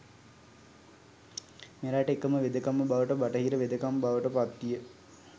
මෙරට එකම වෙදකම බවට බටහිර වෙදකම බවට පත්විය